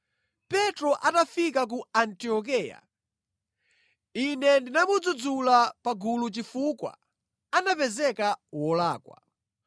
Petro atafika ku Antiokeya, ine ndinamudzudzula pa gulu chifukwa anapezeka wolakwa.